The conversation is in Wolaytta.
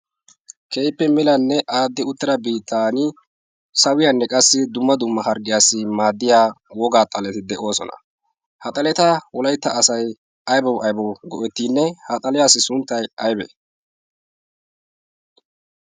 keehippe milanne aaddi uttira bitan sawiyaanne qassi dumma dumma harggiyaassi maaddiya wogaa xaleti de'oosona haxaleta wolaytta asay aybba aibo go'ettiinne haxaliyaassi sunttay aybee